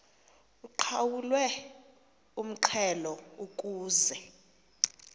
uqhawulwe umxhelo ukuze